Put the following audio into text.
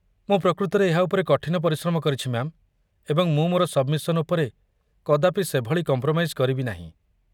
ମୁଁ ପ୍ରକୃତରେ ଏହା ଉପରେ କଠିନ ପରିଶ୍ରମ କରିଛି, ମ୍ୟା'ମ୍, ଏବଂ ମୁଁ ମୋର ସବ୍‌ମିସନ୍ ଉପରେ କଦାପି ସେଭଳି କମ୍ପ୍ରୋମାଇଜ୍ କରିବି ନାହିଁ।